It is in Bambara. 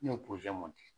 Ne ye di